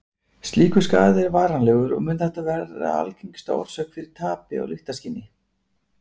Slíkur skaði er varanlegur og mun þetta vera algengasta orsök fyrir tapi á lyktarskyni.